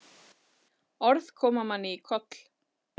Orð koma manni í koll.